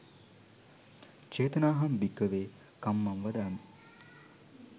චේතනාහං භික්කවේ කම්මං වදාමී